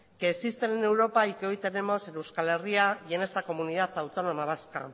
que existen en europa y que hoy tenemos en euskal herria y en esta comunidad autónoma vasca